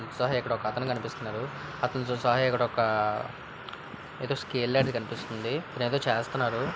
ఒక అతను కనిపిస్తున్నాడు అతనితో ఇక్కడ ఒక ఏదో స్కేల్ లాంటిది కనిపిస్తుంది అతనేదో చేస్తున్నారు.